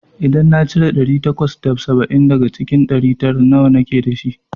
idan na cire ɗari takwas da saba'in daga cikin ɗari tara, nawa nake dashi?